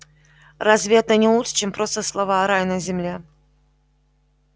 разве это не лучше чем просто слова рай на земле